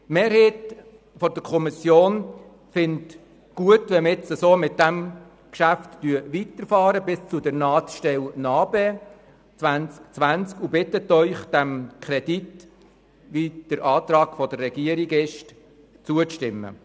Die Mehrheit der Kommission findet gut, wenn wir auf diese Weise mit dem Geschäft weiterfahren bis zur Nahtstelle NA-BE 2020 und bittet Sie, dem Kredit gemäss dem Antrag der Regierung zuzustimmen.